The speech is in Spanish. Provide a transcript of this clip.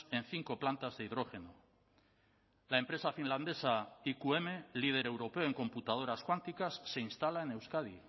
en cinco plantas de hidrógeno la empresa finlandesa iqm líder europeo en computadoras cuánticas se instala en euskadi